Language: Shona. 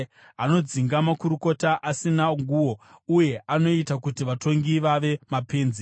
Anodzinga makurukota asina nguo uye anoita kuti vatongi vave mapenzi.